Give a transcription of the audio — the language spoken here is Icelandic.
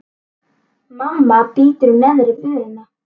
Mamma bítur í neðri vörina.